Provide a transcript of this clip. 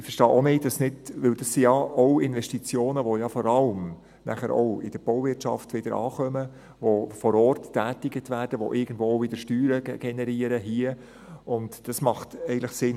Ich verstehe es auch nicht, weil das ja auch Investitionen sind, die vor allem in der Bauwirtschaft wieder ankommen, die vor Ort getätigt werden, die irgendwo auch wieder Steuern generieren, und das macht eigentlich Sinn.